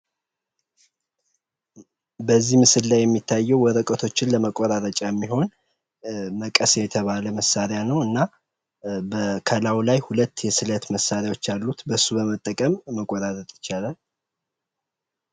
በዚህ ምስል የሚታየው ወረቀቶችን ለመቆራረጫ የሚሆን መቀስ የተባለ መሳሪያ ነው እና ከላዩ ላይ ሁለት የስለት መሳሪያዎች አሉት በሱ በመጠቀም መቆራረጥ ይቻላል።